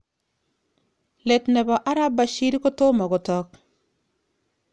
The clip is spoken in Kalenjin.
Let nebo arap Bashir kotomo kotog.